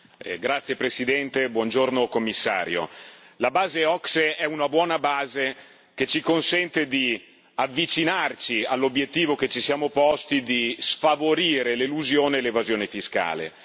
Signor Presidente, onorevoli colleghi, signor Commissario, la base OCSE è una buona base che ci consente di avvicinarci all'obiettivo che ci siamo posti di sfavorire l'elusione e l'evasione fiscale.